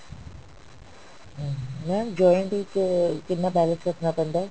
ਹਮ mam joint ਵਿੱਚ ਕਿੰਨਾ balance ਰੱਖਣਾ ਪੈਂਦਾ